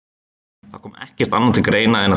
Þá kom ekkert annað til greina en að taka það.